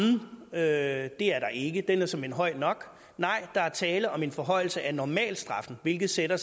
af strafferammen det er der ikke den er såmænd høj nok nej der er tale om en forhøjelse af normalstraffen hvilket sætter